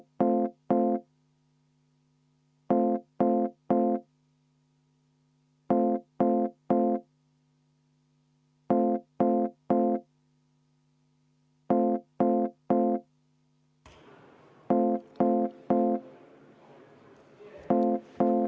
V a h e a e g